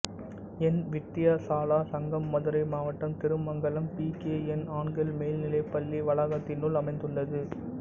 என் வித்தியாசாலா சங்கம் மதுரை மாவட்டம் Thirumangalam P K N ஆண்கள் மேல் நிலைப் பள்ளி வளாகத்தினுள் அமைந்துள்ளது